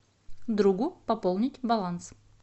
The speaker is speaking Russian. другу пополнить баланс